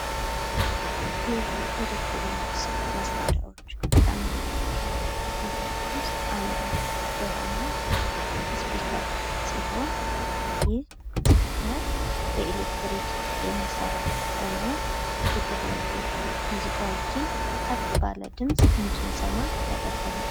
የኢሌክትሮኒክስ መስሪያዎች ከምንላቸው ንገሮች ውስጥ አንዱ የሆነው ስፒከር ሲሆን ይህ ስፒከር በኤሊለክትሪክ የሚሰራ ሆኖ የተለያዩ ሙዚቃዎችን ከፍ ባለ ድምጽ እንድንሰማ ያደርገናል።